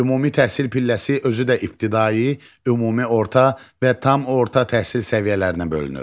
Ümumi təhsil pilləsi özü də ibtidai, ümumi orta və tam orta təhsil səviyyələrinə bölünür.